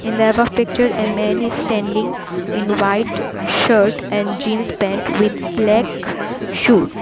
In the above picture a man is standing in white shirt and jeans pant with black shoes.